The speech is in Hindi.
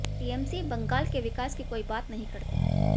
टीएमसी बंगाल के विकास की कोई बात नहीं करती